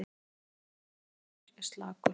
Sóknarleikur Akureyrar er slakur